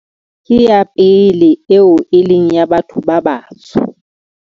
Ke ya pele eo e leng ya batho ba batsho.